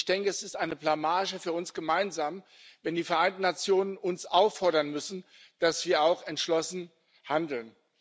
Und es ist eine Blamage für uns gemeinsam, wenn die Vereinten Nationen uns auffordern müssen, dass wir auch entschlossen handeln.